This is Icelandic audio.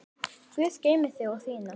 Guð geymi þig og þína.